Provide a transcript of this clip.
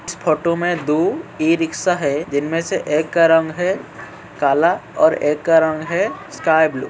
इस फोटो में दो इ-रिक्शा है जिनमें से एक का रंग है काला और एक का रंग है। Sky blue.